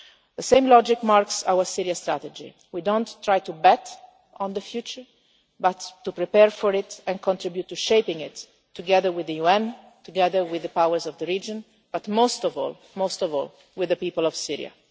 The same logic marks our Syria Strategy we do not try to bet on the future, but to prepare for it and contribute to shaping it, together with the UN, together with the powers of the region, but most of all, with the people of